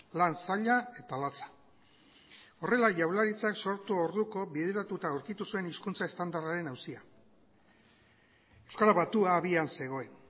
lan zaila eta latza horrela jaurlaritzak sortu orduko bideratuta aurkitu zuen hizkuntza estandarraren auzia euskara batua abian zegoen